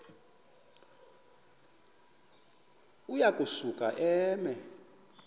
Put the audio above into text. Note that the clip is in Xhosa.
uya kusuka eme